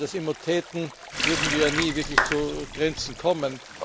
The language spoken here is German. Wenn wir das immer täten, würden wir nie wirklich zu Grenzen kommen.